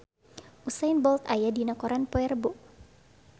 Usain Bolt aya dina koran poe Rebo